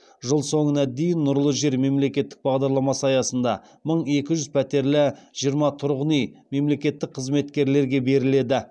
жыл соңына дейін нұрлы жер мемлекеттік бағдарламасы аясында мың екі жүз пәтерлі жиырма тұрғын үй мемлекеттік қызметкерлерге беріледі